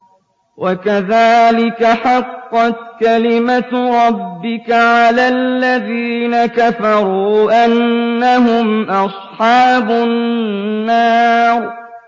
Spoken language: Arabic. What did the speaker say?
وَكَذَٰلِكَ حَقَّتْ كَلِمَتُ رَبِّكَ عَلَى الَّذِينَ كَفَرُوا أَنَّهُمْ أَصْحَابُ النَّارِ